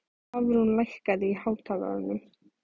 Hafrún, lækkaðu í hátalaranum.